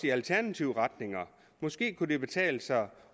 i alternative retninger måske kunne det betale sig